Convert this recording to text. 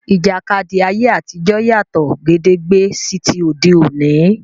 Ìjàkadì ayé àtijọ́ yàtọ̀ gédégbé sí ti òde òní.